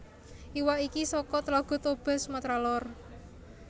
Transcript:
Iwak iki saka Tlaga Toba Sumatera Lor